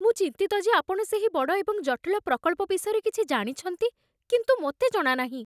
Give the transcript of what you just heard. ମୁଁ ଚିନ୍ତିତ ଯେ ଆପଣ ସେହି ବଡ଼ ଏବଂ ଜଟିଳ ପ୍ରକଳ୍ପ ବିଷୟରେ କିଛି ଜାଣିଛନ୍ତି, କିନ୍ତୁ ମୋତେ ଜଣା ନାହିଁ।